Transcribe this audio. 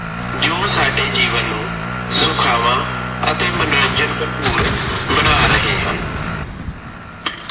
ਜੋ ਸਾਡੇ ਜੀਵਨ ਨੂੰ ਸੁਖਾਵਾ ਅਤੇ ਮਨੋਰੰਜਨ ਭਰਪੂਰ ਬਣਾ ਰਹੇ ਹਨ।